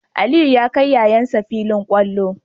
Aliyu ya kai yayan shi filin kwallo